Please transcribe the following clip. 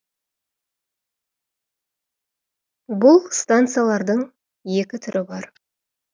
бұл станциялардың екі түрі бар